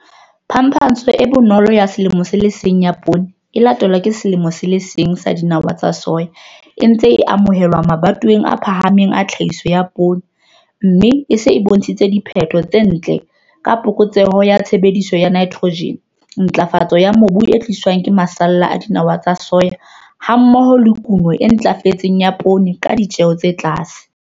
Phapantsho e bonolo ya selemo se le seng ya poone e latelwang ke selemo se le seng sa dinawa tsa soya e ntse a amohelwa mabatoweng a phahameng a tlhahiso ya poone, mme e se e bontshitse diphetho tse ntle ka phokotseho ya tshebediso ya nitrojene, ntlafatso ya mobu e tliswang ke masalla a dinawa tsa soya hammoho le kuno e ntlafetseng ya poone ka ditjeo tse tlase.